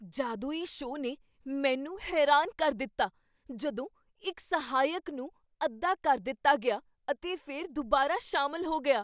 ਜਾਦੂਈ ਸ਼ੋਅ ਨੇ ਮੈਨੂੰ ਹੈਰਾਨ ਕਰ ਦਿੱਤਾ ਜਦੋਂ ਇੱਕ ਸਹਾਇਕ ਨੂੰ ਅੱਧਾ ਕਰ ਦਿੱਤਾ ਗਿਆ ਅਤੇ ਫਿਰ ਦੁਬਾਰਾ ਸ਼ਾਮਲ ਹੋ ਗਿਆ।